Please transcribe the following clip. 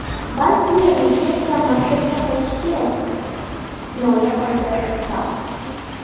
Balki razvedka maktabga qaytishi kerakdir”, kinoya qildi Tramp.